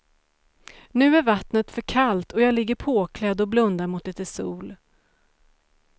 Nu är vattnet för kallt och jag ligger påklädd och blundar mot lite sol.